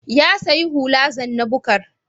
Ya sayi hula zanna-bukar.